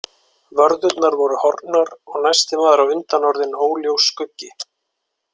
Vörðurnar voru horfnar og næsti maður á undan orðinn óljós skuggi.